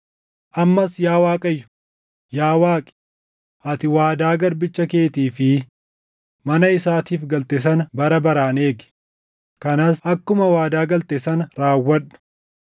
“Ammas yaa Waaqayyo, yaa Waaqi, ati waadaa garbicha keetii fi mana isaatiif galte sana bara baraan eegi. Kanas akkuma waadaa galte sana raawwadhu;